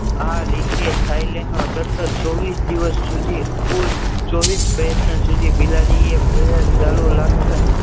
આ રીતે થાઈલેન્ડ માં સતત ચોવીસ દિવસ સુધી કુલ ચોવીસ પ્રયત્ન સુધી બિલાડીએ સારું રાખતા